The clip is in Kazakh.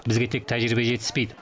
бізге тек тәжірибе жетіспейді